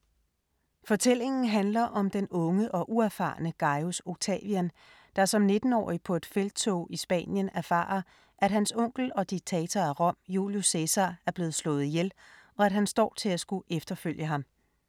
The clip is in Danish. Fortællingen handler om den unge og uerfarne Gajus Octavian, der som 19-årig på et felttog i Spanien erfarer, at hans onkel og diktator af Rom Julius Cæsar er blevet slået ihjel og at han står til at skulle efterfølge ham.